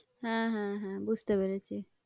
হ্যাঁ, হ্যাঁ, হ্যাঁ বুঝতে পেরেছি।